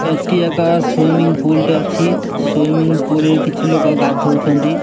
ଏଠି ଏକ swimming pool ଟେ ଅଛି ସ୍ଵିମ୍ମିଂ ପୁଲ୍ ରେ କିଛି ଲୋକ ଗାଧଉଛନ୍ତି।